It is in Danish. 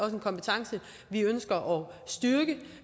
en kompetence vi ønsker